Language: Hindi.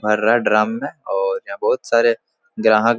भर रहा है में और यहाँ बहुत सारे ग्राहक--